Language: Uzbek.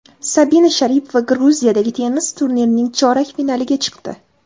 Sabina Sharipova Gruziyadagi tennis turnirining chorak finaliga chiqdi.